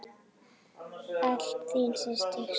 Alltaf þín systir, Sigrún.